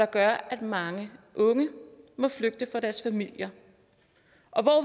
gør at mange unge må flygte fra deres familier